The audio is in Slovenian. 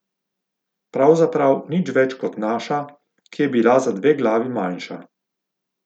Pravzaprav nič več kot naša, ki je bila za dve glavi manjša.